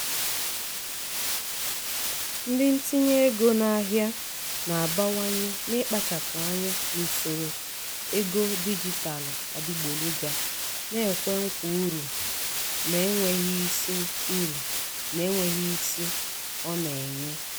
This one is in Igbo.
ndị ntinye ego n'ahịa na-abawanye n'ịkpachapụ anya n'usoro ego dijitalụ adịgboloja na-ekwe nkwa uru na-enweghị isi uru na-enweghị isi ọ na-enye.